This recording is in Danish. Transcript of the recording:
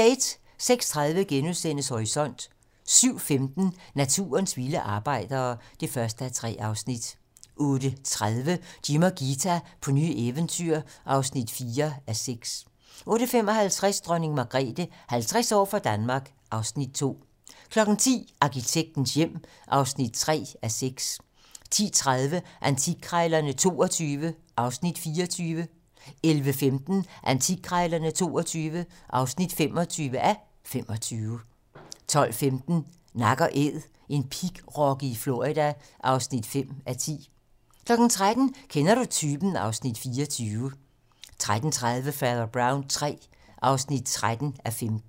06:30: Horisont * 07:15: Naturens vilde arbejdere (1:3) 08:30: Jim og Ghita på nye eventyr (4:6) 08:55: Dronning Margrethe - 50 år for Danmark (Afs. 2) 10:00: Arkitektens hjem (3:6) 10:30: Antikkrejlerne XXII (24:25) 11:15: Antikkrejlerne XXII (25:25) 12:15: Nak & Æd - en pigrokke i Florida (5:10) 13:00: Kender du typen? (Afs. 24) 13:30: Fader Brown III (13:15)